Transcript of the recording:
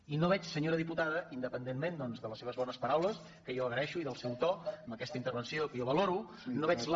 i no veig senyora diputada independent·ment doncs de les seves bones paraules que jo agra·eixo i del seu to en aquesta intervenció que jo valoro no veig la